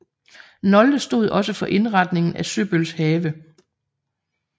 Nolde stod også for indretningen af Søbøls have